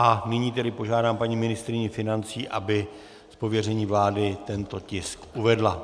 A nyní tedy požádám paní ministryni financí, aby z pověření vlády tento tisk uvedla.